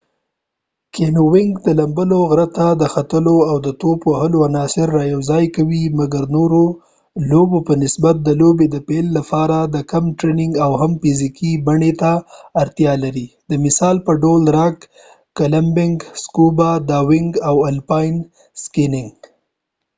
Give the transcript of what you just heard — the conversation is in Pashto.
کېنیوېنګ د لمبلو، غره ته ختلو او د ټوپ وهلو عناصر را یوځای کوي مګر نورور لوبو په نسبت د لوبې د پیل لپاره د کم ټریننګ اويا هم فزیکې بڼی ته اړتیا لري د مثال په ډول راک کلایمبنګ، سکوبا ډاونګ او الپاین سکېنګ